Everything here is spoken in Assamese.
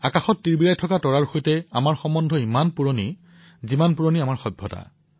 আকাশত তিৰবিৰাই জ্বলি থকা তৰাৰ সৈতে আমাৰ সম্পৰ্ক সিমানেই পুৰণি যিমান পুৰণি আমাৰ এই সভ্যতা